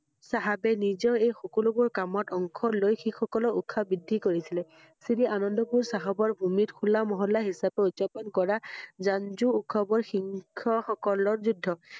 চাহাবে নিজৰ এই সকলোবোৰ কামত অংশ লৈ শিখ সকলৰ উৎসা বৃদ্ধি কৰিছিলে। শ্ৰী আনন্দ পুৰ চাহাবৰ হুল্লা মহল্লা হিচাব ত উদযাপন কৰা ৰঞ্জো উৎসৱৰ সিং~হ সকলৰ যুদ্ধ